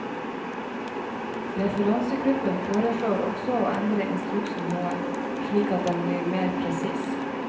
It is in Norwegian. Referansegruppen foreslår også å endre instruksen noe, slik at den blir mer presis.